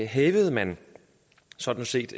hævede man sådan set